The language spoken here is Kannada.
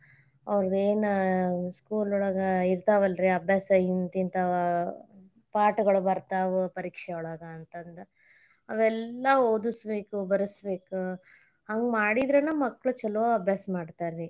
ಅವ್ರದ್ ಏನ school ಒಳಗ ಇರ್ತಾವಲ್ಲರೀ ಅಭ್ಯಾಸ ಹಿಂತಿತಾವ ಪಾಠಗಳು ಬರ್ತಾವ ಪರೀಕ್ಷೆಯೊಳಗ ಅಂತಂದ ಅವೆಲ್ಲಾ ಓದಸಬೇಕ್ ಬರಸಬೇಕ್ ಹಂಗ್ ಮಾಡಿದ್ರನ ಮಕ್ಕಳ್ ಚೊಲೊ ಅಭ್ಯಾಸ ಮಾಡತಾರರಿ.